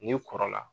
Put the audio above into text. N'i kɔrɔla